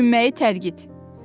Düşünməyi tərgit.